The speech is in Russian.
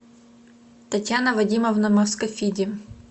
татьяна вадимовна москафиди